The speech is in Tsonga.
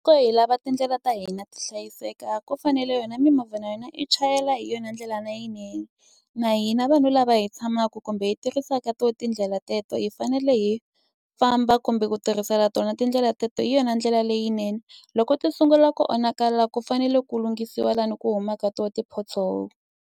hi lava tindlela ta hina ti hlayiseka ku fanele yona mimovha na yena i chayela hi yona ndlela leyinene, na hina vanhu lava hi tshamaku kumbe hi tirhisaka tona tindlela teleto hi fanele hi famba kumbe ku tirhisela tona tindlela teleto hi yona ndlela leyinene. Loko ti sungula ku onhaka la ku fanele ku lunghisiwa laha ku huma ka kona ti-pothole.